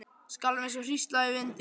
Skalf eins og hrísla í vindi.